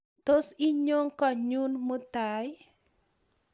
Tos inyo konyon mutai ii?